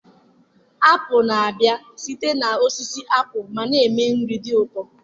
apụl na-abịa site na osisi apụl ma na-eme nri dị ụtọ